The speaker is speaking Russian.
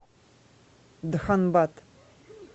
дханбад